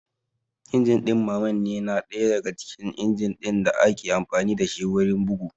Injin ɗin mammanne na ɗaya daga cikin injin ɗin da ake amfani dashi wurin bugu